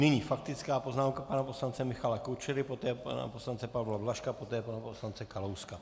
Nyní faktická poznámka pana poslance Michala Kučery, poté pana poslance Pavla Blažka, poté pana poslance Kalouska.